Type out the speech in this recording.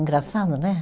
Engraçado, né?